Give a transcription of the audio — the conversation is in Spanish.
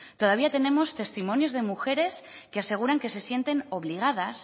todavía tenemos testimonios de mujeres que aseguran que se sienten obligadas